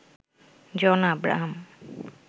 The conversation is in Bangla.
জন আব্রাহাম